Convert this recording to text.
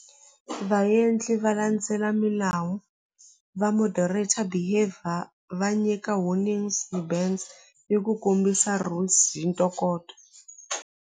Vaendli va landzela milawu va moderator va nyika warnings ni ku kombisa hi ntokoto.